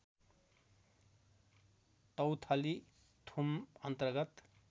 तौथली थुम अन्तर्गत